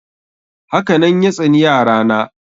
Haka nan ya tsani yara na.